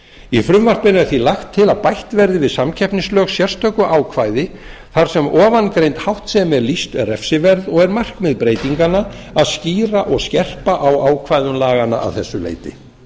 í frumvarpinu er því lagt til að bætt verði við samkeppnislög sérstöku ákvæði þar sem ofangreind háttsemi er lýst refsiverð og er markmið breytinganna að skýra og skerpa á ákvæðum laganna að þessu leyti